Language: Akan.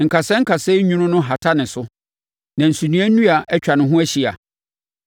Nkasɛɛ nkasɛɛ nwunu no hata ne so; na nsunoa nnua atwa ne ho ahyia.